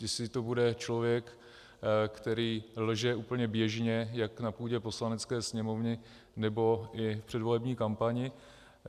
Jestli to bude člověk, který lže úplně běžně jak na půdě Poslanecké sněmovny, nebo i v předvolební kampani.